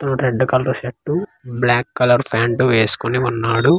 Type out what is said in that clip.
Red colour shirt black colour pant వేసుకుని ఉన్నాడు.